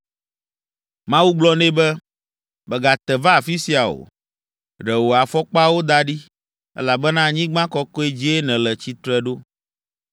Mawu gblɔ nɛ be, “Mègate va afi sia o. Ɖe wò afɔkpawo da ɖi, elabena anyigba kɔkɔe dzie nèle tsitre ɖo.